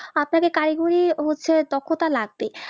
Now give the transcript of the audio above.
আপনাদের কাজ নিয়ে হচ্ছে দক্ষতা লাগবে